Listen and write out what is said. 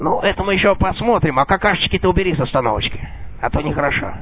ну это мы ещё посмотрим а какашечки убери-то с остановочки а то не хорошо